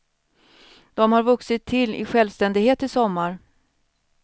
De har vuxit till i självständighet i sommar.